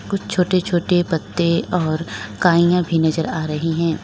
कुछ छोटे छोटे पत्ते और काईयां भी नजर आ रही है।